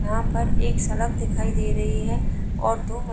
यहां पर एक सड़क दिखाई दे रही है और दो --